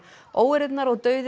óeirðirnar og dauði